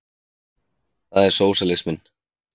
Það er sósíalisminn.